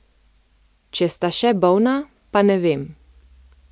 Če sta še bolna, pa ne vem.